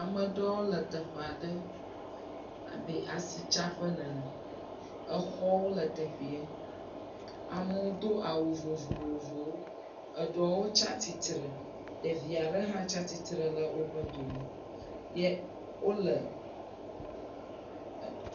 Ame ɖewo le teƒa ɖe abe asitsaƒe nene. Exɔwo le teƒee. Amewo do awu vovovowo. Eɖewo tsa titre. Ɖevi aɖe ha tsa titre le woƒe dome.